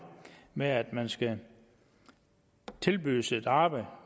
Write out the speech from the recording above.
med at man skal tilbydes et arbejde